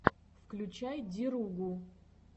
включай деругу